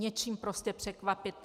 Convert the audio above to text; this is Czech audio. Něčím prostě překvapit.